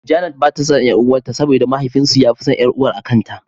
Janet bata son ƴar'uwar ta saboda mahaifin su yafi ƙaunar ƴar'uwar akanta.